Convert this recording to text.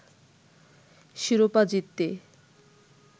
শিরোপা জিততে